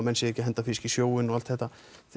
sé ekki að henda fiski í sjóinn og allt þetta